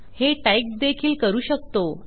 हे टाईप देखील करू शकतो